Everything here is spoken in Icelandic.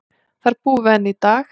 Þar búum við enn í dag.